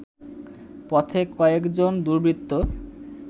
পথে কয়েকজন দুর্বৃত্ত